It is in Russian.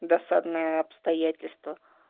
досадное обстоятельство